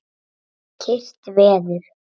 Kyrrt veður.